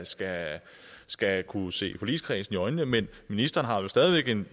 skal skal kunne se forligskredsen i øjnene men ministeren har vel stadig væk en